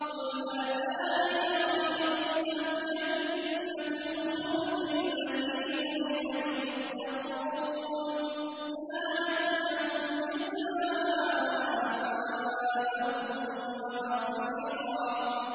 قُلْ أَذَٰلِكَ خَيْرٌ أَمْ جَنَّةُ الْخُلْدِ الَّتِي وُعِدَ الْمُتَّقُونَ ۚ كَانَتْ لَهُمْ جَزَاءً وَمَصِيرًا